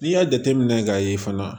N'i y'a jateminɛ k'a ye fana